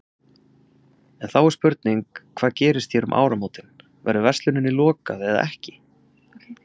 En þá er spurning, hvað gerist hér um áramótin, verður versluninni lokað eða ekki?